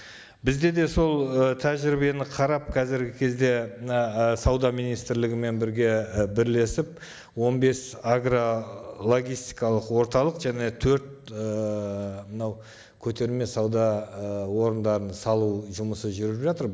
бізде де сол ы тәжірибені қарап қазіргі кезде мына ы сауда министрлігімен бірге і бірлесіп он бес агрологистикалық орталық және төрт ыыы мынау көтерме сауда ы орындарын салу жұмысы жүріп жатыр